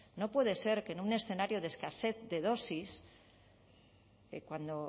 no puede ser que en un escenario de escasez de dosis cuando